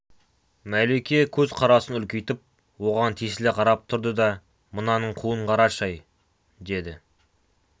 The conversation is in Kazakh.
мәлике көзқарасын үлкейтіп оған тесіле қарап тұрды да мынаның қуын қарашы-ай деді